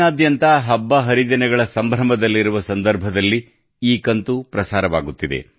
ನಾಡಿನಾದ್ಯಂತ ಹಬ್ಬ ಹರಿದಿನಗಳ ಸಂಭ್ರಮದಲ್ಲಿರುವ ಸಂದರ್ಭದಲ್ಲಿ ಈ ಕಂತು ಪ್ರಸಾರವಾಗುತ್ತಿದೆ